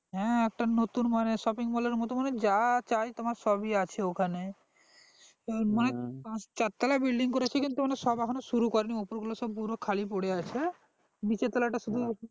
হ্যাঁ একটা নতুন মানে shopping mall এর মতো মানে যা চাই তোমার সবই আছে ওখানে চার তলা building করেছে কিন্তু সব ওখানে শুরু করেনি ওপর গুলো সব খালি পরে আছে নিচের তলা টা শুধু